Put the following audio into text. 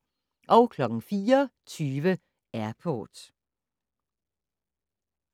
04:20: Airport